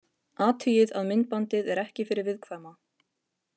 Athugið að myndbandið er ekki fyrir viðkvæma.